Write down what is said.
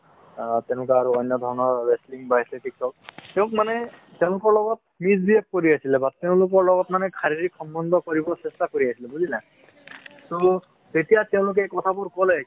অ তেনেকুৱা আৰু অন্য ধৰনৰ wrestling বা athletic হওঁক, তেওঁ মানে তেওঁলোকৰ লগত misbehave কৰি আছিলে বা তেওঁলোকৰ লগত মানে শৰীৰিক সম্বন্ধ কৰিব চেষ্টা কৰি আছিলে বুজিলা তো এতিয়া তেঁওলোকে কথা বোৰ ক'লে ,